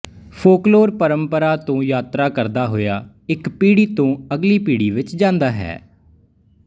folklore ਪਰੰਪਰਾ ਤੋਂ ਯਾਤਰਾ ਕਰਦਾ ਹੋਇਆ ਇੱਕ ਪੀੜੀ ਤੋਂ ਅਗਲੀ ਪੀੜ੍ਹੀ ਵਿੱਚ ਜਾਂਦਾ ਹੈ